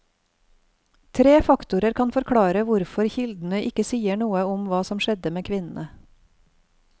Tre faktorer kan forklare hvorfor kildene ikke sier noe om hva som skjedde med kvinnene.